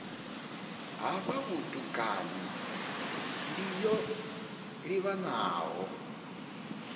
hafha vhutukani ndi yo livhanaho